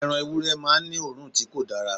Ẹran ewúrẹ́ máa n ní òórùn ti ko dára